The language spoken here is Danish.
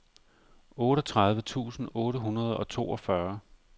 otteogtredive tusind otte hundrede og toogfyrre